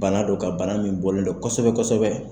Bana don ka bana min bɔlen don kosɛbɛ kosɛbɛ